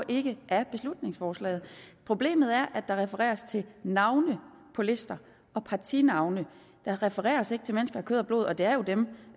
ikke af beslutningsforslaget problemet er at der refereres til navne på lister og partinavne der refereres ikke til mennesker af kød og blod og det er jo dem